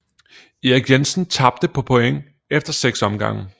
Erik Jensen tabte på point efter 6 omgange